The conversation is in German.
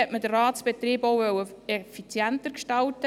Gleichzeitig wollte man den Ratsbetrieb auch effizienter gestalten.